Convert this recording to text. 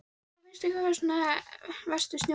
Hafsteinn: Hvað finnst ykkur vera svona verst við snjóinn?